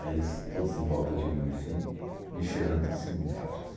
Aí todos em volta de mim assim, me cheirando de cima e embaixo,